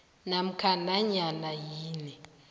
namkha nanyana yini